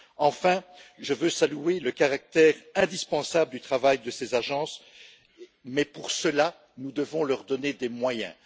Enfin, je tiens à saluer le caractère indispensable du travail de ces agences mais, pour cela, nous devons leur donner des moyens.